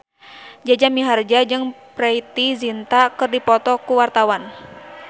Jaja Mihardja jeung Preity Zinta keur dipoto ku wartawan